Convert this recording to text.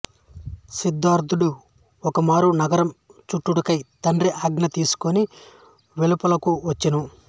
సిద్ధార్ధుడు ఒకమారు నగరం చూచుటకై తండ్రి ఆజ్ఞ తీసికొని వెలుపలకు వచ్చెను